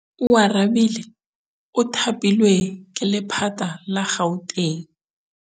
Oarabile o thapilwe ke lephata la Gauteng.